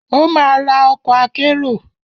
Ó ma ra ọkọ̀ akérò.